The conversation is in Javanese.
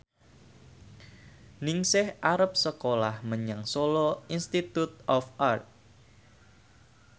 Ningsih arep sekolah menyang Solo Institute of Art